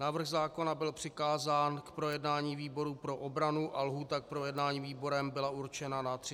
Návrh zákona byl přikázán k projednání výboru pro obranu a lhůta k projednání výborem byla určena na 30 dní.